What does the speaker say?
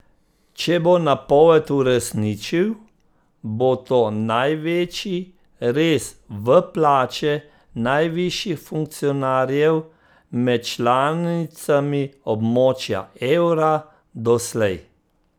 Če bo napoved uresničil, bo to največji rez v plače najvišjih funkcionarjev med članicami območja evra doslej.